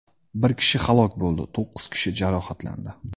Bir kishi halok bo‘ldi, to‘qqiz kishi jarohatlandi.